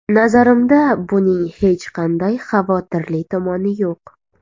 Nazarimda, buning hech qanday xavotirli tomoni yo‘q”.